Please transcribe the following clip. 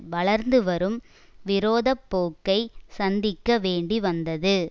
வளர்ந்துவரும் விரோத போக்கை சந்திக்க வேண்டி வந்தது